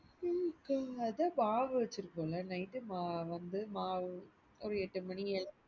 அதான் மாவு வச்ச்ருக்கோம்ல night வந்து மாவு ஒரு எட்டு மணிக்கு ஏழு,